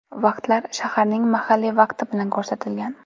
Vaqtlar shaharlarning mahalliy vaqti bilan ko‘rsatilgan.